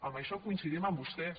amb això coincidim amb vostès